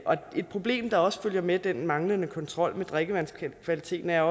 et problem der også følger med den manglende kontrol med drikkevandskvaliteten er